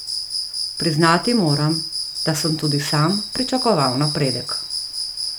Priznati moram, da sem tudi sam pričakoval napredek.